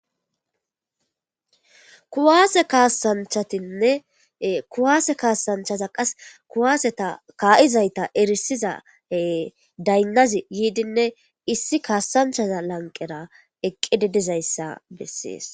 Kuwasse kasanchatinne kuwasse kasanchata qasi kuwaseta kayizayta erisida daynazzi yidinne issi kasanchazara eqidi dizayssa besses.